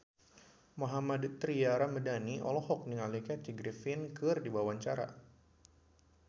Mohammad Tria Ramadhani olohok ningali Kathy Griffin keur diwawancara